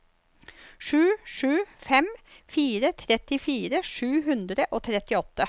sju sju fem fire trettifire sju hundre og trettiåtte